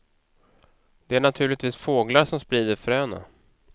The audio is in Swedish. Det är naturligtvis fåglar som sprider fröna.